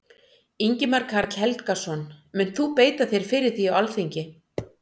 Ingimar Karl Helgason: Munt þú beita þér fyrir því á Alþingi?